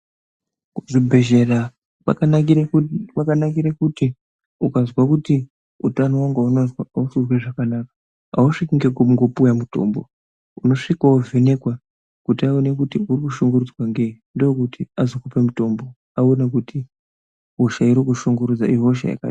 Kuzvibhedhlera kwakanakire kuti ukazwa kuti utano hwangu ausi kuzwa zvakanaka ausviki ngekungopuwe mutombo unosvika wovhenekwa kuti aone kuti urikushungurudzwa ngei ndokuti azokupe mutombo aona kuti hosha iri kukushungurudza ihosha yakadini.